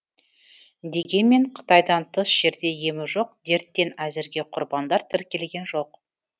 дегенмен қытайдан тыс жерде емі жоқ дерттен әзірге құрбандар тіркелген жоқ